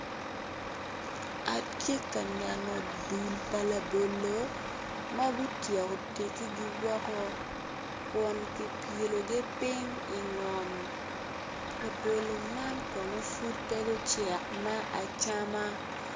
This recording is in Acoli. Atye ka neno dul pa labolo ma gityeko tegigi woko kun kipyelogi piny ingom labolo man Kono pud pe gucek me acama.